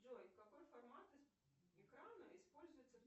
джой какой формат экрана используется